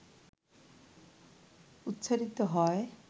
উচ্চারিত হয়,